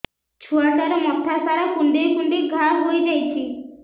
ଛୁଆଟାର ମଥା ସାରା କୁଂଡେଇ କୁଂଡେଇ ଘାଆ ହୋଇ ଯାଇଛି